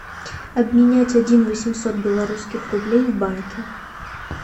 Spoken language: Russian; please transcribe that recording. обменять один восемьсот белорусских рублей в банке